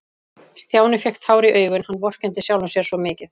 Stjáni fékk tár í augun, hann vorkenndi sjálfum sér svo mikið.